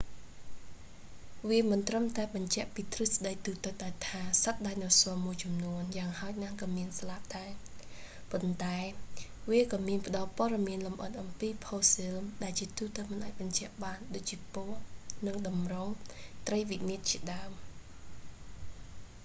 វាមិនត្រឹមតែបញ្ជាក់ពីទ្រឹស្ដីទូទៅដែលថា សត្វដាយណូស័រមួយចំនួនយ៉ាងហោចណាស់ក៏មានស្លាបដែរ ប៉ុន្តែវាក៏មានផ្តល់ព័ត៌មានលម្អិតអំពីផូស៊ីលដែលជាទូទៅមិនអាចបញ្ជាក់បាន ដូចជាពណ៌ និង ទម្រង់ ត្រីវិមាត្រជាដើម